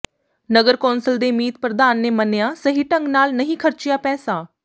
ਨਗਰ ਕੌਂਸਲ ਦੇ ਮੀਤ ਪ੍ਰਧਾਨ ਨੇ ਮੰਨਿਆ ਸਹੀ ਢੰਗ ਨਾਲ ਨਹੀਂ ਖਰਚਿਆ ਪੈਸਾ